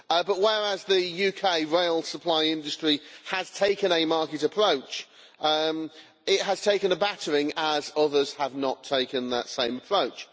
But whereas the UK rail supply industry has taken a market approach, it has had a battering as others have not taken that same approach.